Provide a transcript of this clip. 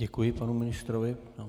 Děkuji panu ministrovi.